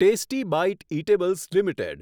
tasty bite eatables limited